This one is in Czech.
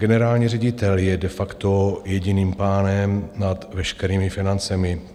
Generální ředitel je de facto jediným pánem nad veškerými financemi.